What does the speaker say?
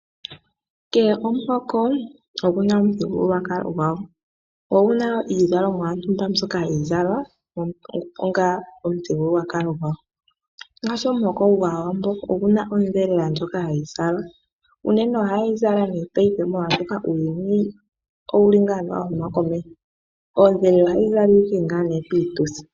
Kehe omuhoko oguna omuthigululwakalo gwawo. Oguna wo iizalomwa mbyoka hayi zalwa onga omuthigululwakalo gwawo. Ngaashi omuhoko gwAawambo oguna ondhelela ndjoka hayi zalwa . Unene ohayeyi zala paife molwaashoka uuyuni , owuli wahuma komeho, oondhelela ohadhi zalwa owala piituthi.